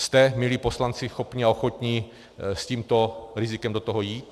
Jste, milí poslanci, schopni a ochotni s tímto rizikem do toho jít?